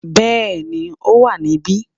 Bẹ́ẹ̀ni ó wà níbí